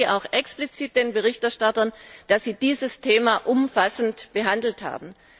Ich danke auch explizit den Berichterstattern, dass sie dieses Thema umfassend behandelt haben.